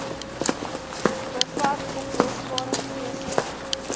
bevat oplosbare vesel